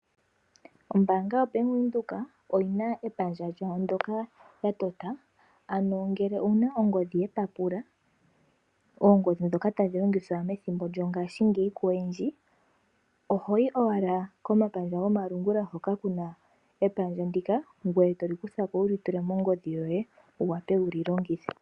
Ombaanga yoBank Windhoek oyi na epandja ndyoka ya tota ano ngele owu na ongodhi yepapula, ongodhi ndjoka tayi longithwa paife koyendji oho yi owala komapandja gomalungula hoka ku na epandja ndika e to li kutha ko wu li tule mongodhi yoye toli kutha ko wu li longithe.